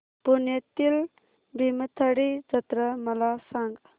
पुण्यातील भीमथडी जत्रा मला सांग